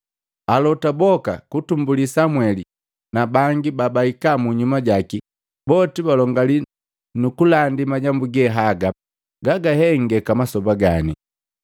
Alota boka, kutumbuli Samweli na bangi babahika munyuma jaki, boti balongali nukulandi majambu gehaga gaga hengeka masoba gani.